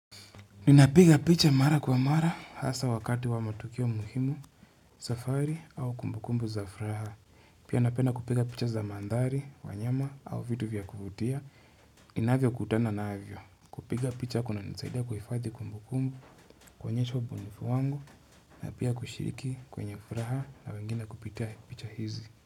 Ninapiga picha mara kwa mara hasa wakati wa matukio muhimu, safari au kumbukumbu za furaha. Pia napena kupiga picha za madhari, wanyama au vitu vya kuvutia. Inavyo kutana navyo. Kupiga picha kuna nisaida kufati kumbukumbu kuonyesha ubunifu wangu. Napia kushiriki kwenye furaha na wengine kupitia picha hizi.